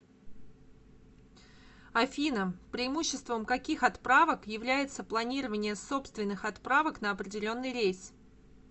афина преимуществом каких отправок является планирование собственных отправок на определенный рейс